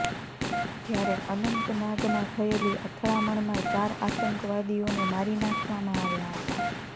જ્યારે અનંતનાગમાં થયેલી અથડામણમાં ચાર આતંકવાદીઓને મારી નાખવામાં આવ્યા હતા